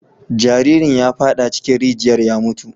Jaririn ya fada cikin rijiyar ya mutu.